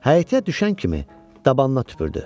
Həyətə düşən kimi dabanına tüpürdü.